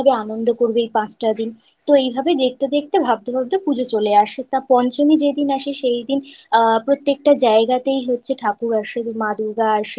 খাওয়া দাওয়া করবে? কি ভাবে আনন্দ করবে এই পাঁচটা দিন তো এই ভাবে দেখতে দেখতে ভাবতে ভাবতে পুজো চলে আসে। তা পঞ্চমী যেই দিন আসে সেই দিন আ প্রত্যেকটা জায়গাতেই হচ্ছে ঠাকুর আসে।